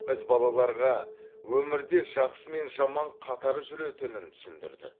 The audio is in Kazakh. біз балаларға өмірде жақсы мен жаман қатар жүретінін түсіндірдік